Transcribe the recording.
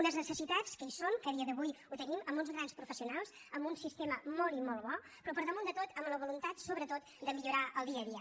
unes necessitats que hi són que a dia d’avui ho tenim amb uns grans professionals amb un sistema molt i molt bo però per damunt de tot amb la voluntat sobretot de millorar el dia a dia